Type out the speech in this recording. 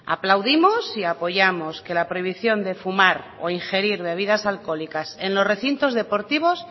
aplaudimos y apoyamos que la prohibición de fumar o ingerir bebidas alcoholices en los recintos deportivos